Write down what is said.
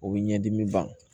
O bɛ ɲɛdimi ban